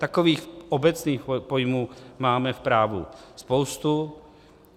Takových obecných pojmů máme v právu spoustu.